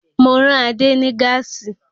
Mo rán Adé ní gáàsì